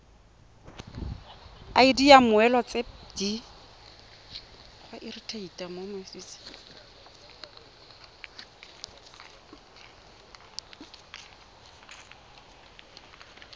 id ya mmoelwa tse di